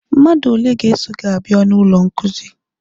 Mmadụ ole ga-eso gị abịa n'ụlọ nkuzi?